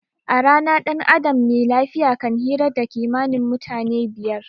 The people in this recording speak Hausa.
A rana dan adam me lafiya kan hira da kimanin mutum fiyar